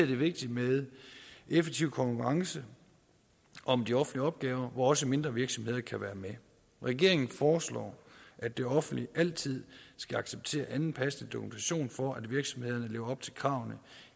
det vigtigt med en effektiv konkurrence om de offentlige opgaver hvor også mindre virksomheder kan være med regeringen foreslår at det offentlige altid skal acceptere anden passende dokumentation for at virksomhederne lever op til kravene